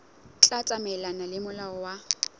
tla tsamaelana le molao wa